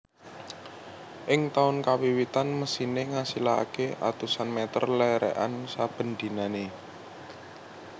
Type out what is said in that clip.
Ing taun kawiwitan mesine ngasilake atusan meter lerekan saben dinane